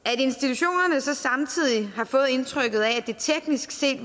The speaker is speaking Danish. at institutionerne så samtidig har fået indtrykket af at det teknisk set